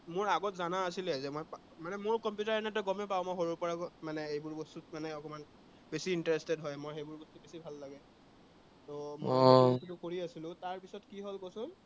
মোৰ আগত জানা আছিলে যে মানে আহ মোৰ কম্পিউটাৰ এনেই তই গমেই পাৱ, মোৰ সৰুৰে পৰা মানে, এইবোৰ বস্তুত মানে অকনমান বেছি interested হয় মই, সেইবোৰ বস্তু বেছিকে ভাল লাগে ত তাৰ পিছত কি হল কচোন